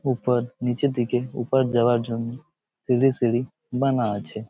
উপর নিচে দিকে উপর যাওয়ার জন্য সিঁড়ি বানা আছে ।